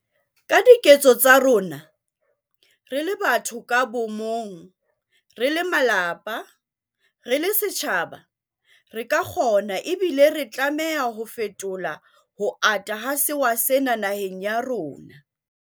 Ka diketso tsa rona, re le batho ka bomong, re le malapa, re le setjhaba, re ka kgona ebile re tlameha ho fetola ho ata ha sewa sena naheng ya rona.